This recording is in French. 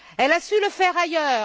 Elle a su le faire ailleurs.